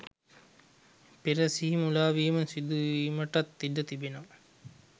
පෙර සිහි මුලාවීම සිදුවීමටත් ඉඩ තිබෙනවා.